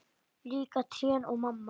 Líka trén og mamma.